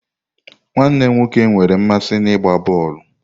Nwanne m nwoke nwere mmasị n'ịgba bọọlụ.